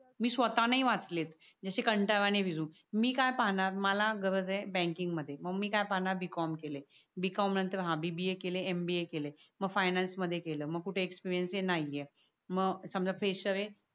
मी स्वतः नाय वाचलेत. जशे कांटाळ वने मी काय पाहणार मला गरज ये बँकिंग मध्ये मग मी काय पाहणार b. com केलाय हा नंतर bba केलय mba केलय. मग फायनान्स मध्ये केलय मग कुठे एक्सपीरियन्स ये नाय ये. मग समझा फ्रेशर ये.